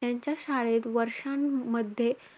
त्यांच्या शाळेत वर्षांमध्ये,